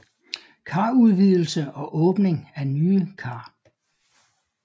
Karudvidelse og åbning af nye kar